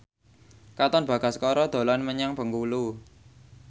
Katon Bagaskara dolan menyang Bengkulu